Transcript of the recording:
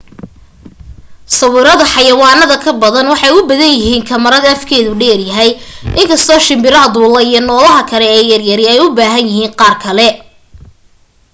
sawirada xayawaanada ka badana waxay u bahan yahiin kamarad afkeedu dheer yahay inkasto shimbiraha duula iyo noolaha kale ee yaryari ay u bahan yahiin qaar kale